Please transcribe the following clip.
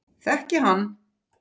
Þekki hann.